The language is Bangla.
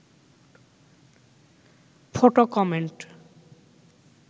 photo comment